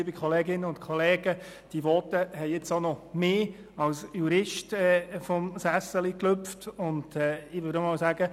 Diese Voten haben nun auch mich als Juristen vom Sessel gehoben, und hier würde ich sagen: